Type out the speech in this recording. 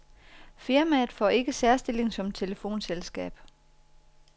Firmaet får ikke særstilling som telefonselskab.